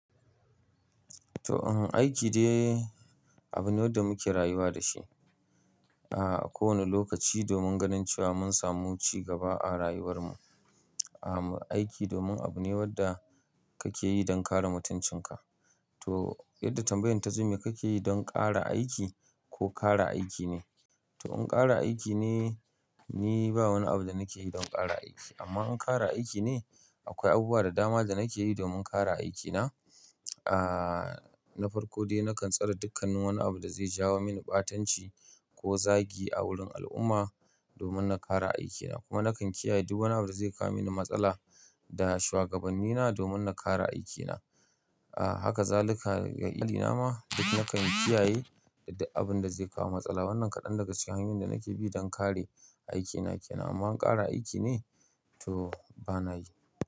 To, aiki dai abune wanda muke rayuwa da shi, a kowane lokaci domin ganin cewa mun samu cigaba a rayuwar mu. A aiki domin abu ne wanda kake yi don kare mutuncin ka. To, yadda tambayoyinta sun ji kake yi don ƙara aiki ko ƙara aiki ne? To, in ƙara aiki ne, ni ba wani abu da nake yi don ƙara aiki. Amma in ƙara aiki ne, akwai abubuwa da dama da nake yi domin ƙara aikina. Aaa, na farko dai nakan tsare dukkan wani abu da zai jawo mini ɓatanci ko zagi a wurin al'umma domin na ƙara aikina. Kuma nakan kiyaye duk wani abu da zai kawo mini matsala da shugabannina domin na ƙara aikina. Haka zaluka ga illina ma, duk nakan kiyaye abin da zai kawo matsala. Wannan kaɗan daga cikin abin da nake bi don ƙara aikina kenan. Amma in ƙara aiki ne, to bana yi.